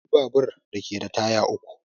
Akwai babur da ke da taya uku